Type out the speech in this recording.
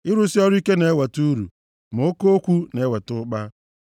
Ịrụsị ọrụ ike na-eweta uru; ma oke okwu na-eweta ụkpa.